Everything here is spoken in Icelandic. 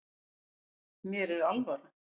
Mér er alvara